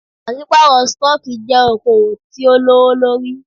Pàṣípàrọ̀ stọọkí jẹ́ okoòwò tí o lówó lórí.